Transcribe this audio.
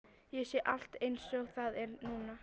Ég sé allt einsog það er núna.